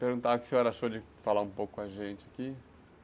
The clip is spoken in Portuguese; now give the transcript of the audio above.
Perguntar o que o senhor achou de falar um pouco com a gente aqui.